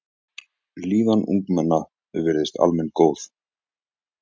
Líðan ungmenna virðist almennt góð.